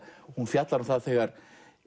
hún fjallar um það þegar